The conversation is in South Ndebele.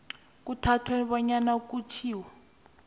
kuthathwe bonyana kutjhiwo